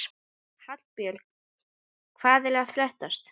Hallbjörn, hvað er að frétta?